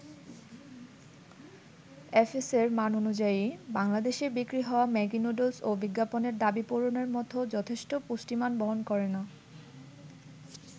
এফএসএ'র মান অনুযায়ী, বাংলাদেশে বিক্রি হওয়া ম্যাগি নুডুলসও বিজ্ঞাপনের দাবি পূরণের মতো যথেষ্ট পুষ্টিমান বহন করে না।